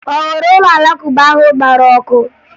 Ọ hụrụ ụlọ Alakụba ahụ gbara ọkụ?